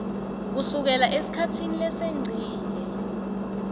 kusukela esikhatsini lesengcile